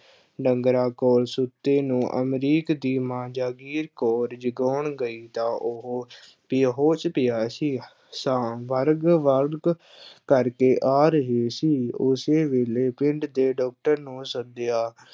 ਡੰਗਰਾਂ ਕੋਲ ਸੁੱਤੇ ਨੂੰ ਅਮਰੀਕ ਦੀ ਮਾਂ ਜਾਗੀਰ ਕੌਰ ਜਗਾਉਣ ਗਈ ਤਾਂ ਉਹ ਬੇਹੋਸ਼ ਪਿਆ ਸੀ, ਸਾਹ ਕਰਕੇ ਆ ਰਹੇ ਸੀ, ਉਸੇ ਵੇਲੇ ਪਿੰਡ ਦੇ doctor ਨੂੰ ਸੱਦਿਆ